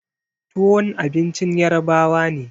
Tuwon abincin ƴarbawa ne.